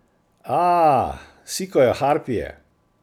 Aaaa, sikajo harpije.